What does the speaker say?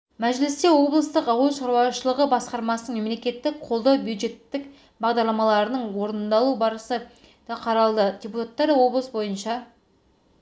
мәжілісте облыстық ауыл шаруашылығы басқармасының мемлекеттік қолдау бюджеттік бағдарламаларының орындалу барысы да қаралды депутаттар облыс бойынша